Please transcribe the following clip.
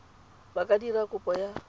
ba ka dira kopo ya